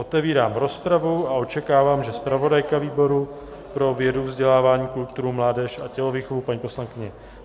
Otevírám rozpravu a očekávám, že zpravodajka výboru pro vědu, vzdělání, kulturu, mládež a tělovýchovu paní poslankyně